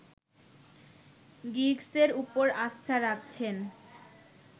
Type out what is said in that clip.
গিগসের উপর আস্থা রাখছেন